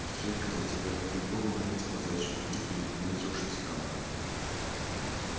век за тебя буду бога молить о заячьем тулупе и упоминать уж не стану